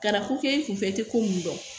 Ka na ko kɛ e kunfɛ e tɛ ko mun dɔn